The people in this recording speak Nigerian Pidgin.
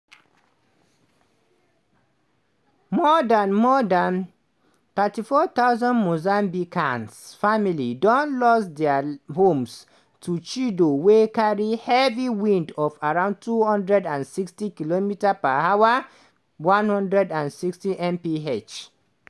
more dan more dan 34000 mozambican families don lose dia homes to chido wey carry heavy winds of around 260km/h (160mph).